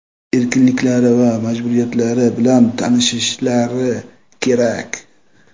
erkinliklari va majburiyatlari bilan tanishishlari kerak.